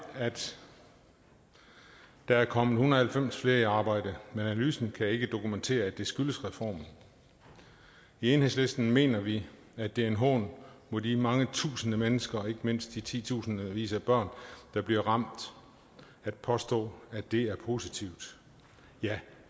at der er kommet en hundrede og halvfems flere i arbejde men analysen kan ikke dokumentere at det skyldes reformen i enhedslisten mener vi at det er en hån mod de mange tusinde mennesker og ikke mindst de titusindvis af børn der bliver ramt at påstå at det er positivt ja